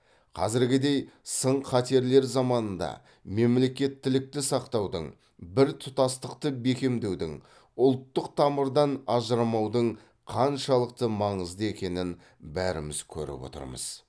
қазіргідей сын қатерлер заманында мемлекеттілікті сақтаудың біртұтастықты бекемдеудің ұлттық тамырдан ажырамаудың қаншалықты маңызды екенін бәріміз көріп отырмыз